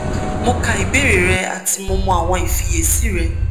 mo ka ibeere rẹ ati mo mọ awọn ifiyesi rẹ